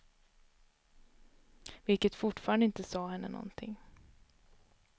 Vilket fortfarande inte sade henne någonting.